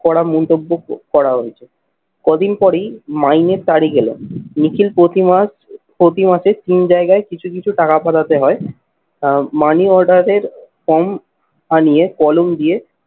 করা মন্তব্য ক করা হয়েছে। কদিন পরেই মাইনের তারিখ এল নিখিল প্রতিমাস প্রতি মাসে তিন জায়গায় কিছু কিছু টাকা পাঠাতে হয় আহ money order এর form আনিয়ে কলম দিয়ে